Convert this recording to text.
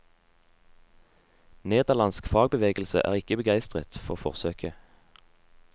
Nederlandsk fagbevegelse er ikke begeistret for forsøket.